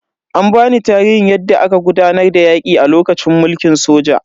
An bani tarihin yadda aka gudanar da yaki a lokacin mulkin soja.